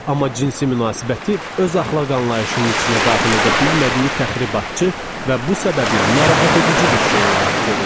Amma cinsi münasibəti öz əxlaq anlayışının içinə daxil edə bilmədiyi təxribatçı və bu səbəblə narahat edici bir şey olaraq görürdü.